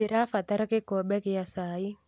ndĩra batara gĩkombe gĩa cai